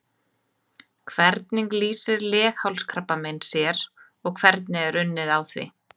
Hvernig lýsir leghálskrabbamein sér og hvernig er unnið á því?